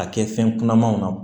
A kɛ fɛn kunamanw na